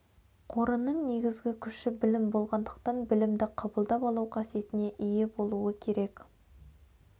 қорының негізгі күші білім болғандықтан білімді қабылдап алу қасиетіне ие болуы керек